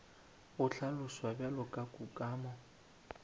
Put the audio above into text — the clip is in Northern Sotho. go hlaloswa bjalo ka kukamo